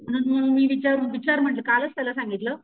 म्हणून मी विचार विचार म्हंटल कालच त्याला सांगितलं,